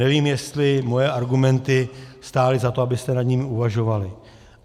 Nevím, jestli moje argumenty stály za to, abyste nad nimi uvažovali.